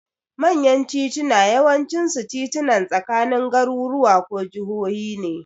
Manyan titunan yawancinsu titunan tsakanin garuruwa ko jahohi ne.